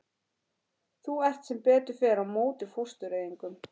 Þú ert sem betur fer á móti fóstureyðingum.